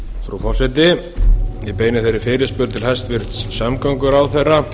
frú forseti ég beini þeirri fyrirspurn til hæstvirts samgönguráðherra